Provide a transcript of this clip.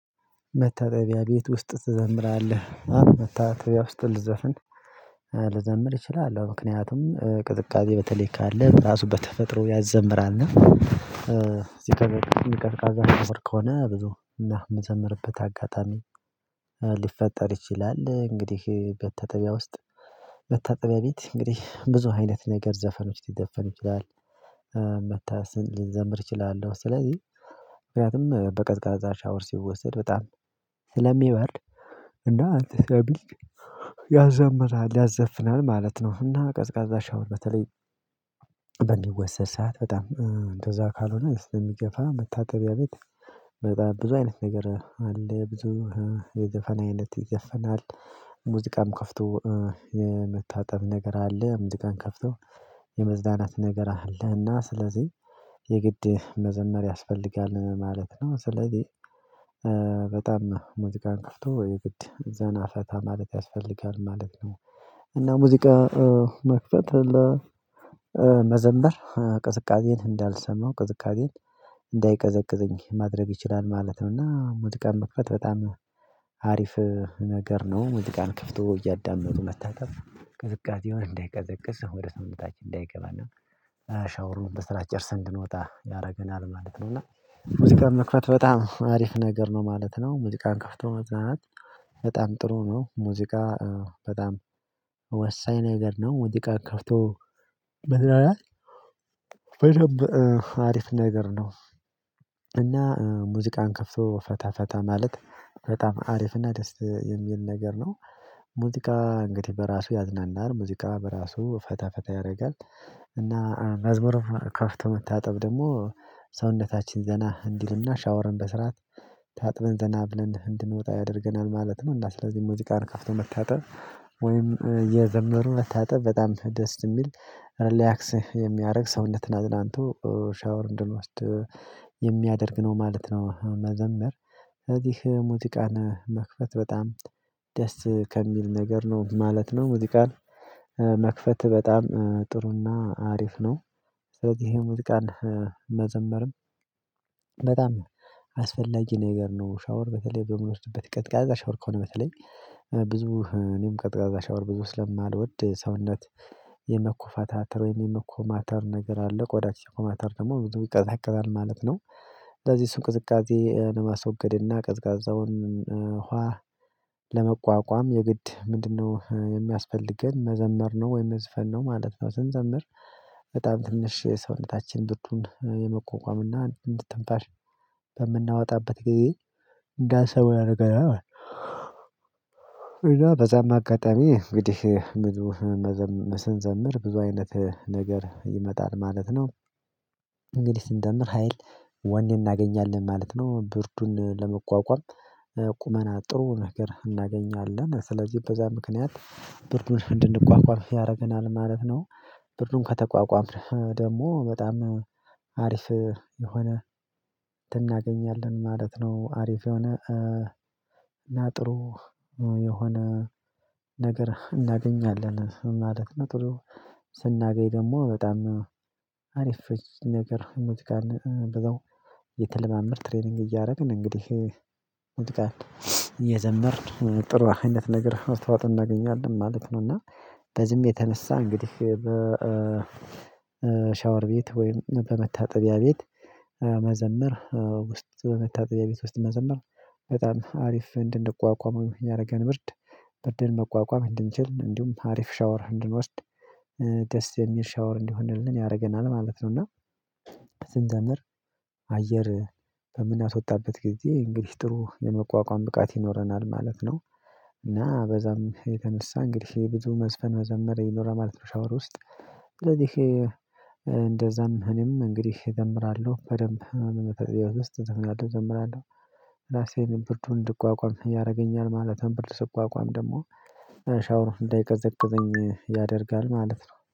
መታጠቢያ ቤት ውስጥ ትዘምራለህ አው መታጠቢያ ውስጥ ልዘፍን ልዘምር እችላለሁ ምክንያቱም ቅዝቃዜ በተለይ ካለ ራሱ በተፈጥሮ ያዘምራል እና እዚህ ከቀዝቃዛ ከሆነ ብዙ እና የምዘምርበት አጋጣሚ ሊፈጠር ይችላል። እንግዲህ መታጠቢያ ውስጥ መታጠቢያ ቤት እንግዲህ ብዙ አይነት ነገር ዘፈኖች ሊዘፈን ይችላል። ልንዘምር እችላለሁ ስለዚህ ምክንያቱም በቀዝቃዛ ሻወር ሲወሰድ በጣም ስለሚበርድ እና እንትን ስለሚል ያዘምራል ያዘፍናል ማለት ነው። እና ቀዝቃዛ ሻወር በተለይ በሚወሰድ ሰዓት በጣም እንደዛ ካልሆነ ስለሚገፋ መታጠቢያ ቤት በጣም ብዙ አይነት ነገር አለ። ብዙ የዘፈን አይነት ይዘፈናል ሙዚቃም ከፍቶ የመታጠብ ነገር አለ። ሙዚቃን ከፍቶ የመዝናናት ነገር አለ። እና ስለዚህ የግድ መዘመር ያስፈልጋል ማለት ነው። ስለዚህ በጣም ሙዚቃን ክፍቶ የግድ ዘና ፈታ ማለት ያስፈልጋል ማለት ነው። እና ሙዚቃ መክፈት እና መዘመር ቅዝቃዜን እንዳልሰማው ቅዝቃዜን እንዳይቀዘቅዘኝ ማድረግ ይችላል ማለት ነው። እና ሙዚቃን መክፈት በጣም አሪፍ ነገር ነው። ሙዚቃን ከፍቶ እያዳመጡ መታጠብ ቅዝቃዜው እንዳይቀዘቅዝ ወደ ሰውነታችን እንዳይገባና ሻወሩን በስርዓት ጨርሰን እንድንወጣ ያረገናል ማለት ነው። እና ሙዚቃን መክፈት በጣም አሪፍ ነገር ነው ማለት ነው። ሙዚቃን ከፍቶ መዝናናት በጣም ጥሩ ነው ሙዚቃ በጣም ወሳኝ ነገር ነው። ሙዚቃን ከፍቶ መዝናናት በደንብ አሪፍ ነገር ነው። እና ሙዚቃን ከፍቶ ፈታ ፈታ ማለት ፈታም አሪፍና ደስ የሚል ነገር ነው። ሙዚቃ እንግዲህ በራሱ ያዝናናል ሙዚቃ በራሱ ፈታ ፈታ ያደርጋል። እና መዝሙር ከፍቶ መታጠብ ደግሞ ሰውነታችን ዘና እንዲልና ሻወርን በስርዓት ታጥበን ዘና ብለን እንድንወጣ ያደርገናል ማለት ነው። እና ስለዚህ ሙዚቃን ከፍቶ መታጠብ ወይም እየዘመሩ መታጠብ በጣም ደስ የሚል ሪላክስ የሚያደርግ ሰውነትን አዝናንቶ ሻወር እንድንወስድ የሚያደርግ ነው ማለት ነው። መዘመር እዚህ ሙዚቃን መክፈት በጣም ደስ ከሚል ነገር ነው ማለት ነው። ሙዚቃን መክፈት በጣም ጥሩና አሪፍ ነው። ስለዚህ ይሄ ሙዚቃን መዘመርም በጣም አስፈላጊ ነገር ነው። ሻወር በተለይ በምንወስድበት ቀዝቃዛ ሻወር ከሆነ በተለይ ብዙ እኔም ቀዝቃዛ ሻወር ብዙ ስለማልወድ ሰውነት የመኮፈታተር ወይም የመኮማተር ነገር አለ ቆዳ ሲኮማተር ደግሞ ብዙ ይቀዛቀዛል ማለት ነው። እንደዚህ እሱን ቅዝቃዜ ለማስወገድ እና ቀዝቃዛውን ውሃ ለመቋቋም የግድ ምንድነው? የሚያስፈልገን መዘመር ነው ወይም መዝፈን ነው ማለት ነው። ስንዘምር በጣም ትንሽ የሰውነታችን ምቱን የመቋቋም እና እንድ ትንፋሽ በምናወጣበት ጊዜ እንዳይሰሩ ያረገናል ማለት ነው። እና በዛም አጋጣሚ እንግዲህ ብዙ ስንዘምር ብዙ አይነት ነገር ይመጣል ማለት ነው። እንግዲህ ስንዘምር ሀይል ወኔ እናገኛለን ማለት ነው። ብርዱን ለመቋቋም ቁመና ጥሩ ነገር እናገኛለን ስለዚህ በዛ ምክንያት ብርዱን እንድንቋቋም ያደርገናል ማለት ነው። ብርዱን ከተቋቋምን ደግሞ በጣም አሪፍ የሆነ እንትን እናገኛለን ማለት ነው። አሪፍ የሆነ እና ጥሩ የሆነ ነገር እናገኛለን ማለት ነው። ጥሩ ስናገኝ ደግሞ በጣም አሪፍ ነገር የምትጋን በዛው እየተለማመድን ትሬኒንግ እያደረግን እንግዲህ ሙዚቃን እይዘመርን ጥሩ አይነት ነገር መስዋዕት እናገኛለን ማለት ነው። እና በዚህም የተነሳ እንግዲህ በ ሻወር ቤት ወይም በመታጠቢያ ቤት መዘምር ውስጥ በመታጠቢያ ቤት ውስጥ መዘምር በጣም አሪፍ እንድንቋቋመው ያረገን ብርድ ብርድን መቋቋም እንድንችል እንዲሁም አሪፍ ሻወር እንድንወስድ ደስ የሚል ሻወር እንዲሆንልን ያረገናል ማለት ነው። እና ስንዘምር አየር በምናስወጣበት ጊዜ እንግዲህ ጥሩ የመቋቋም ብቃት ይኖረናል ማለት ነው። እና በዛም የተነሳ እንግዲህ ብዙ መዝፈን መዘመር ይኖራል ማለት ነው። ሻወር ውስጥ ስለዚህ እንደዛም እኔም እንግዲህ እዘምራለሁ በደንብ በመጣጠቢያ ቤት ውስጥ እዘፍናለሁ እዘምራለሁ ራሴን ብርዱን እንድቋቋም ያረገኛል ማለት ነው። ብርድ ስቋቋም ደግሞ ሻወር እንዳይቀዘቅዘኝ ያደርጋል ማለት ነው